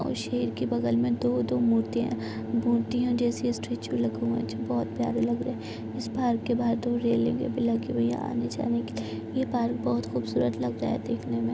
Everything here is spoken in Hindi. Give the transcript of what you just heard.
और शेर के बगल में दो-दो मूर्तियां मूर्तियां जैसे स्टेचू लगे हुए हैं जो बहोत प्यारे लग रहे हैं। इस पार्क के बाहर दो रेलिंगे भी लगी हुई हैं आने जाने के लिए। यह पार्क बोहोत खूबसूरत लग रहा है देखने मे।